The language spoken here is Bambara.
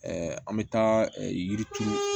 an bɛ taa yiri turu